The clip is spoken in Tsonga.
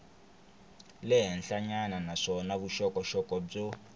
le henhlanyana naswona vuxokoxoko byo